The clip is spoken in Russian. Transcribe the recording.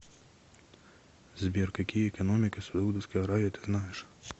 сбер какие экономика саудовской аравии ты знаешь